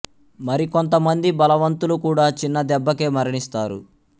మరి కొంత మంది బలవంతులు కూడా చిన్న దెబ్బకే మరణిస్తారు